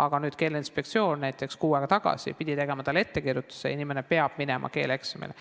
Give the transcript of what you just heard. aga Keeleinspektsioon pidi kuu aega tagasi tegema ettekirjutuse ja inimene peab minema keeleeksamile.